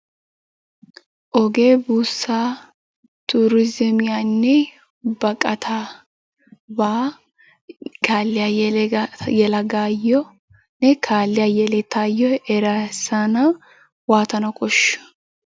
Ogee buussaa turizzimiyanne baqqataabaa kaalliya yelagaayyonne kaalliya yelettayyo erissana waatana koshshiyo?